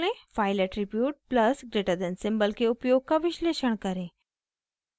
file attribute +> symbol के उपयोग का विश्लेषण करें